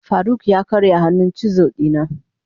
faruk ya karya hannun chisel dina.